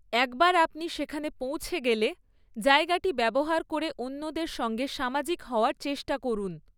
একবার আপনি সেখানে পৌঁছে গেলে, জায়গাটি ব্যবহার করে অন্যদের সঙ্গে সামাজিক হওয়ার চেষ্টা করুন।